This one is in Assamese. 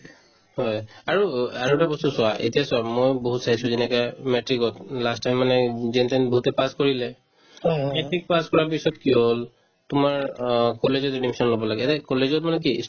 হয় আৰু আৰু এটা বস্তু চোৱা এতিয়া চোৱা ময়ো বহুত চাইছো যেনেকে matrix ত last time মানে যেনতেন বহুতে pass কৰিলে matrix pass কৰাৰ পিছত কি হ'ল তোমাৰ অ কলেজে য'ত admission ল'ব লাগে এনে কলেজত মানে কি